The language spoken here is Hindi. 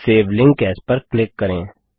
सेव लिंक एएस पर क्लिक करें